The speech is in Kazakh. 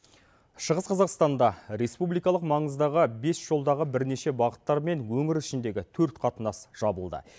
шығыс қазақстанда республикалық маңыздағы бес жолдағы бірнеше бағыттар мен өңір ішіндегі төрт қатынас жабылды